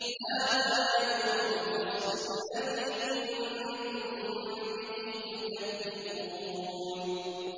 هَٰذَا يَوْمُ الْفَصْلِ الَّذِي كُنتُم بِهِ تُكَذِّبُونَ